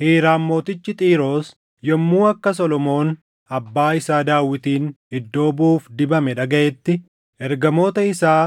Hiiraam mootichi Xiiroos yommuu akka Solomoon abbaa isaa Daawitin iddoo buʼuuf dibame dhagaʼetti ergamoota isaa